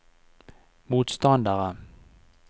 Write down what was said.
motstandere